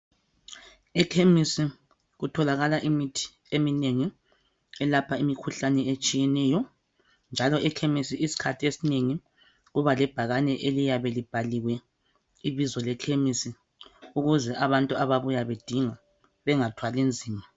Ekhemesi kutholakala imithi eminengi elapha imikhuhlane etshiyeneyo njalo ekhemesi isikhathi esinengi kuba lebhakane eliyabe libhaliwe ibizo lekhemesi ukuze abantu ababuya bedinga bengathwali nzima.